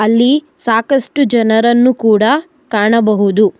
ಅಲ್ಲಿ ಸಾಕಷ್ಟು ಜನರನ್ನ ಕೂಡ ಕಾಣಬಹುದು.